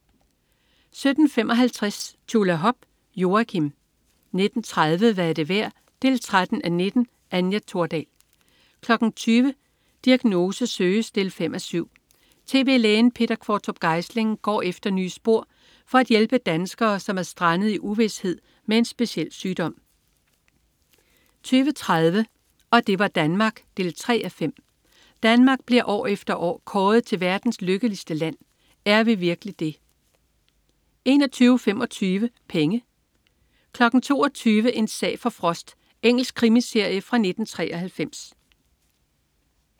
17.55 Tjulahop. Joakim 19.30 Hvad er det værd 13:19. Anja Thordal 20.00 Diagnose søges 5:7. Tv-lægen Peter Qvortrup Geisling går efter nye spor for at hjælpe danskere, som er strandet i uvished med en speciel sygdom 20.30 Og det var Danmark 3:5. Danmark bliver år efter år kåret til verdens lykkeligste land. Er vi virkelig det? 21.25 Penge 22.00 En sag for Frost. Engelsk krimiserie fra 1993